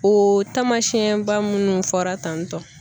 O tamasiyɛn ba minnu fɔra tan tɔ.